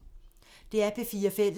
DR P4 Fælles